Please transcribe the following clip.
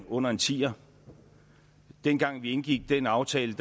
under en tier dengang vi indgik den aftale